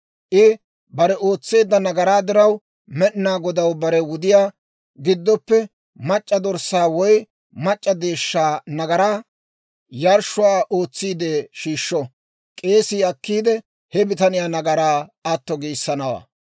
I bare ootseedda nagaraa diraw Med'inaa Godaw bare wudiyaa giddoppe mac'c'a dorssaa woy mac'c'a deeshshaa nagaraa yarshshuwaa ootsiide shiishsho. K'eesii akkiide, he bitaniyaa nagaraa atto giissanawaa.